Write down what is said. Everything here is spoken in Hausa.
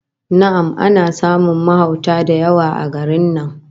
Na'am, ana samun mahauta da yawa a garin nan